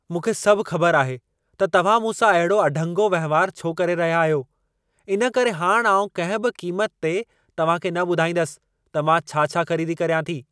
मूंखे सभु ख़बर आहे त तव्हां मूंसां अहिड़ो अढंगो वहिंवार छो करे रहिया आहियो। इन करे हाणि आउं कंहिं बि क़ीमत ते तव्हां खे न ॿुधाईंदसि त मां छा-छा ख़रीदी कर्यां थी।